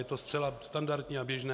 Je to zcela standardní a běžné.